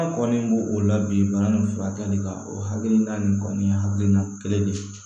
An kɔni bo o la bi bana nin furakɛli kan o hakilina nin kɔni ye hakilina kelen de ye